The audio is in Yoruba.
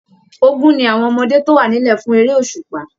Ògún ní àwọn ọmọdé tó wà nílẹ̀ fún eré òṣùpá.